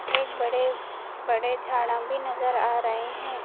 एक बड़े बड़े झाड़ां भी नजर आ रहे हैं।